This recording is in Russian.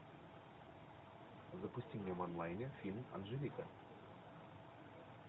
запусти мне в онлайне фильм анжелика